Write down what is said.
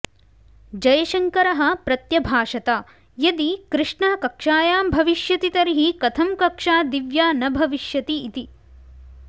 जयशङ्करः प्रत्यभाषत यदि कृष्णः कक्षायां भविष्यति तर्हि कथं कक्षा दिव्या न भविष्यति इति